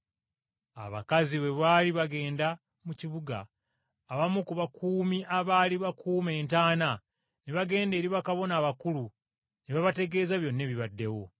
Abakazi bwe baali bagenda mu kibuga, abamu ku bakuumi abaali bakuuma entaana ne bagenda eri bakabona abakulu ne babategeeza byonna ebibaddewo.